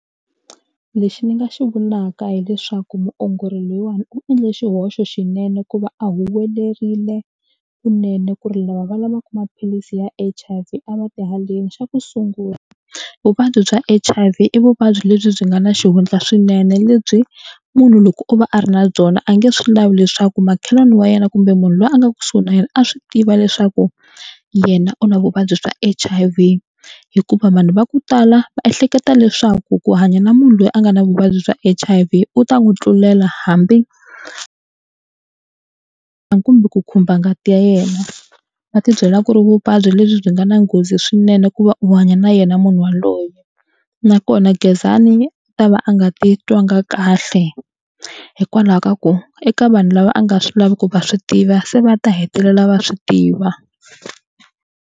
Lexi ni nga xi vulaka hileswaku muongori loyiwani u endle xihoxo xinene ku va a huwelerile kunene ku ri lava va lavaka maphilisi ya H_I_V a va ti haleni xa ku sungula vuvabyi bya H_I_V i vuvabyi lebyi byi nga na xihundla swinene lebyi munhu loko o va a ri na byona a nge swi lavi leswaku makhelwani wa yena kumbe munhu loyi a nga kusuhi na yena a swi tiva leswaku yena u na vuvabyi bya H_I_V hikuva vanhu va ku tala va ehleketa leswaku ku hanya na munhu loyi a nga na vuvabyi bya H_I_V u ta n'wi tlulela hambi kumbe ku khumba ngati ya yena va ti byela ku ri vuvabyi lebyi byi nga na nghozi swinene ku va u hanya na yena munhu yaloye nakona Gezani a ta va a nga titwangi kahle hikwalaho ka ku eka vanhu lava a nga swi lavi ku va swi tiva se va ta hetelela va swi tiva.